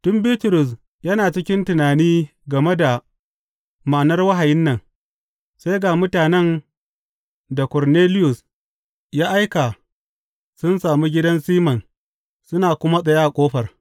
Tun Bitrus yana cikin tunani game da ma’anar wahayin nan, sai ga mutanen da Korneliyus ya aika sun sami gidan Siman suna kuma tsaye a ƙofar.